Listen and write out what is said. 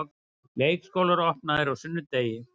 Leikskólar opnaðir á sunnudegi